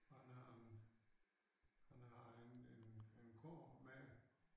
Han han han har en en en kurv med